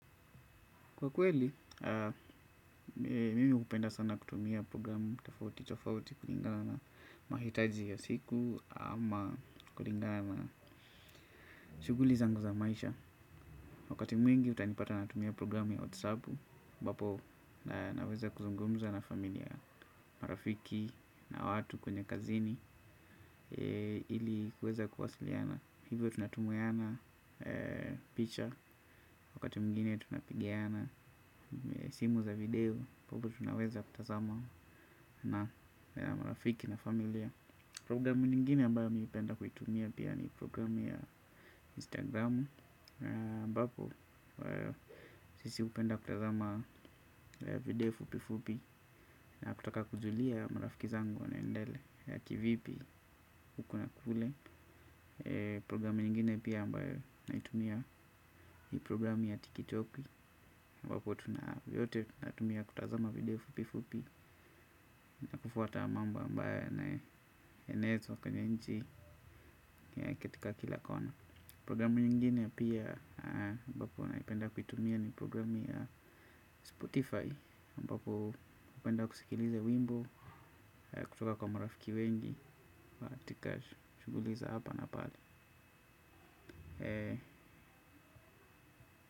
Kwa kweli, mimi upenda sana kutumia programu tofauti tofauti kuringana na mahitaji ya siku ama kuringana na shuguli zangu za maisha. Wakati mwingi, utanipata natumia programu ya WhatsApp, ambapo naweza kuzungumza na familia marafiki na watu kwenye kazini ili kueza kuwasiliana. Hivyo tunatumiana picha wakati mwingine tunapigana simu za video, tunaweza kutazama na marafiki na familia. Programu nyingine ambayo mi hupenda kuitumia pia ni programu ya Instagram, ambapo sisi hupenda kutazama video fupi fupi. Na kutaka kujulia marafiki zangu wanaendelea kivipi huku na kule programu nyingine pia ambayo naitumia ni programu ya tikitoki ambapo tu na yote tu natumia kutazama video fupi fupi. Na kufuata mamba ambayo yanaenezwa kwenye nchi na katika kila kona. Programu nyingine pia ambapo naipenda kuitumia ni programu ya spotify. Ambapo hupenda kusikiliza wimbo kutoka kwa marafiki wengi katika shughuli za hapa na pale.